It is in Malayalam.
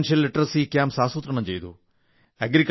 സാമ്പത്തിക സാക്ഷരതാ ക്യാമ്പുകൾ ആസൂത്രണം ചെയ്തു